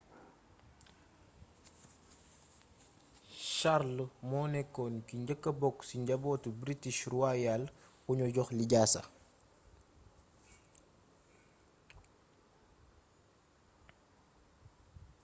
charles moo nekkoon ki njëkka bokk ci njabootu british royal kuñu jox lijaasa